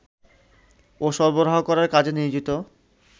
ও সরবরাহ করার কাজে নিয়োজিত